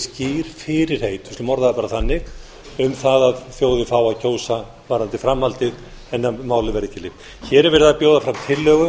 skýr fyrirheit við skulum orða það bara þannig um það að þjóðin fái að kjósa varðandi framhaldið en málið verði ekki leyst hér er verið að bjóða fram tillögu